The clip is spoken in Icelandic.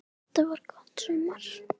Þetta var gott sumar.